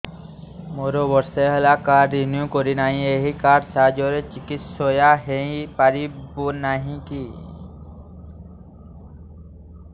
ମୋର ବର୍ଷେ ହେଲା କାର୍ଡ ରିନିଓ କରିନାହିଁ ଏହି କାର୍ଡ ସାହାଯ୍ୟରେ ଚିକିସୟା ହୈ ପାରିବନାହିଁ କି